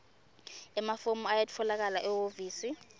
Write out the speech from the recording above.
emafomu ayatfolakala ehhovisi